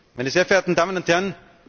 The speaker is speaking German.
Meine sehr verehrten Damen und Herren!